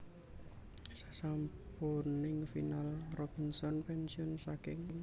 Sasampuning final Robinson pénsiun saking